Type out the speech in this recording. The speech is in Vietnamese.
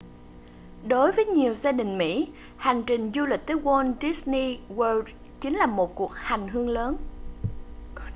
đối với nhiều gia đình mỹ hành trình du lịch tới walt disney world chính là một cuộc hành hương lớn